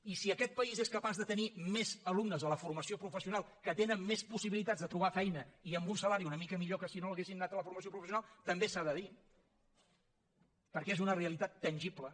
i si aquest país és capaç de tenir més alumnes a la formació professional que tenen més possibilitats de trobar feina i amb un salari una mica millor que si no haguessin anat a la formació professional també s’ha de dir perquè és una realitat tangible